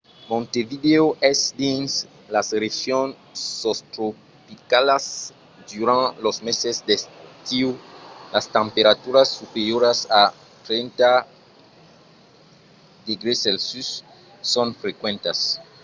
montevideo es dins las regions sostropicalas; durant los meses d'estiu las temperaturas superioras a 30°c son frequentas